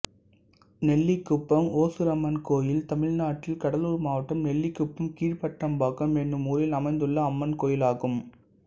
நெல்லிக்குப்பம் ஓசூரம்மன் கோயில் தமிழ்நாட்டில் கடலூர் மாவட்டம் நெல்லிக்குப்பம் கீழ்பட்டாம்பாக்கம் என்னும் ஊரில் அமைந்துள்ள அம்மன் கோயிலாகும்